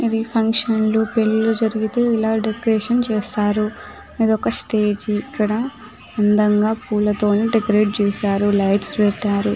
ఇది ఫంక్షన్ లు పెళ్ళీలు జరిగితే ఇలా డెకరేషన్ చేస్తారు ఇది ఒక్క స్టేజ్ ఇక్కడ అందంగా పూలతో డెకరేట్ చేశారు లైట్స్ పెట్టారు .